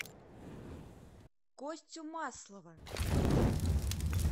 костю маслова